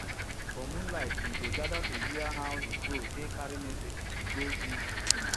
for moonlight we dey gather to hear how de crow take carry messages go give de king